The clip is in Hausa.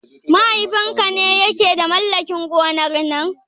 Mahaifin ka ne ya ke da mallakin gonar nan?